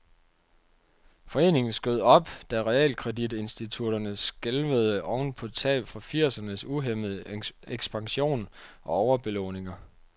Foreningen skød op, da realkreditinstitutterne skælvede oven på tab fra firsernes uhæmmede ekspansion og overbelåninger.